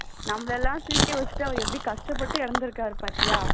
நம்மளலாம் சிரிக்க வச்சிட்டு அவர் எவ்வளவு கஷ்டப்பட்டு இறந்திருக்கார் பாத்தியா